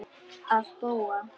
Að búa?